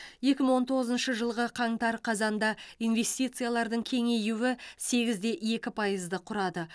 екі мың он тоғызыншы жылғы қаңтар қазанда инвестициялардың кеңеюі сегізде екі пайызды құрады